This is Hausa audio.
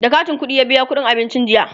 da katin ƙuɗiya biya ƙuɗin abincin jiya